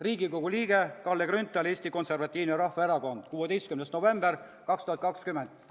Riigikogu liige Kalle Grünthal, Eesti Konservatiivne Rahvaerakond, 16. november 2020.